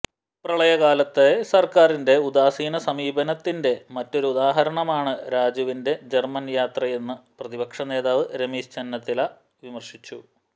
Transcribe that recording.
പ്രളയകാലത്തെ സർക്കാരിന്റെ ഉദാസീന സമീപനത്തിന്റെ മറ്റൊരു ഉദാഹരണമാണ് രാജുവിന്റെ ജർമൻയാത്രയെന്നു പ്രതിപക്ഷ നേതാവ് രമേശ് ചെന്നിത്തല വിമർശിച്ചു